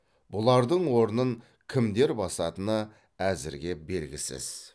бұлардың орнын кімдер басатыны әзірге белгісіз